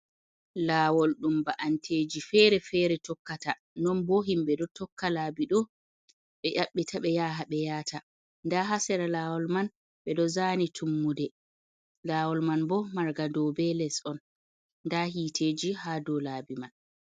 laawol ɗum ba'anteeji feere-feere tokkata non boo himɓe ɗo tokka laabi do ɓe yaɓɓeta ɓe yaha ɓe yahata ndaa haa sera laawol man ɓe ɗo zaani tummude laowol man boo manga dow bee les on nda hiiteji haa dow laabi man.